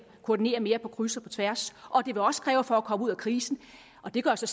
koordinere mere på kryds og på tværs og det vil også kræve at vi for at komme ud af krisen og det går jeg så